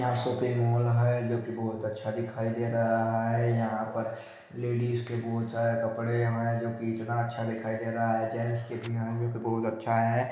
यहाँ shopping mall है जो कि बहोत अच्छा दिखाई दे रहा है यहाँ पर लेडिस के बहोत सारे कपड़े हैंजो कि इतना अच्छा दिखाई दे रहा है जेन्स के भी है जो की बहुत अच्छा है।